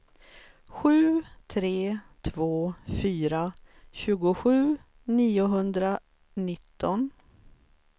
sju tre två fyra tjugosju niohundranitton